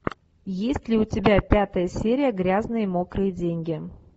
есть ли у тебя пятая серия грязные мокрые деньги